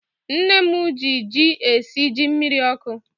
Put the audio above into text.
Nne mụ gị jị esị jị mmiri ọkụ